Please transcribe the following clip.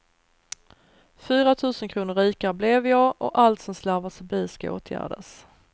Fyra tusen kronor rikare blev jag och allt som slarvats förbi ska åtgärdas.